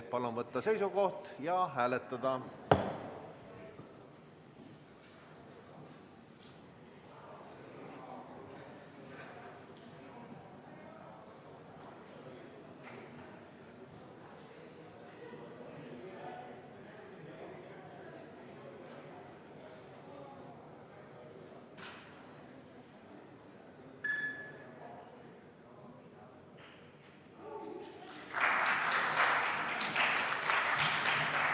Palun võtta seisukoht ja hääletada!